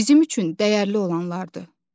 Bizim üçün dəyərli olanlardır.